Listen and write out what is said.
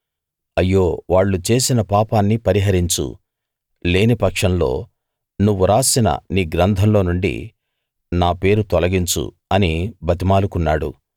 అయ్యో వాళ్ళు చేసిన పాపాన్ని పరిహరించు లేని పక్షంలో నువ్వు రాసిన నీ గ్రంథంలో నుండి నా పేరు తొలగించు అని బతిమాలుకున్నాడు